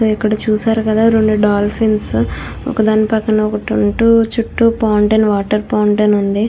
ఇక్కడ చుస్తునారు కదా రెండు డాల్ఫిన్స్ ఉన్నాయ్. ఒక దాని పక్కన ఒకటి --